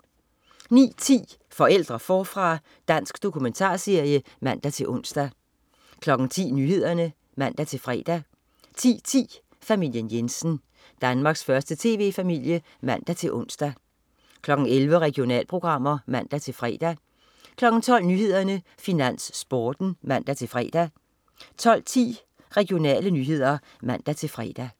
09.10 Forældre forfra. Dansk dokumentarserie (man-ons) 10.00 Nyhederne (man-fre) 10.10 Familien Jensen. Danmarks første tv-familie (man-ons) 11.00 Regionalprogrammer (man-fre) 12.00 Nyhederne, Finans, Sporten (man-fre) 12.10 Regionale nyheder (man-fre)